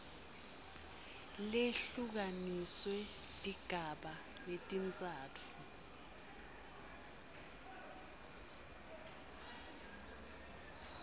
lehlukaniswe tigaba letintsatfu